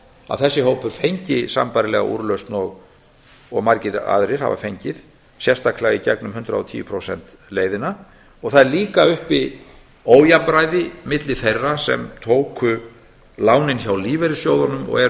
að þessi hópur fengi sambærilega úrlausn og margir aðrir hafa fengið sérstaklega í gegnum hundrað og tíu prósenta leiðina og einnig er uppi ójafnræði á milli þeirra sem tóku lánin hjá lífeyrissjóðunum og eru